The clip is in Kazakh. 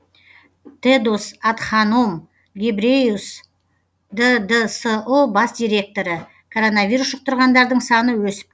тедос адханом гебреюс ддсұ бас директоры коронавирус жұқтырғандардың саны өсіп